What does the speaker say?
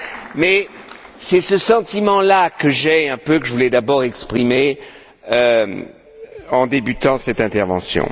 Mais c'est un peu ce sentiment là que j'ai et que je voulais, d'abord, exprimer en débutant cette intervention.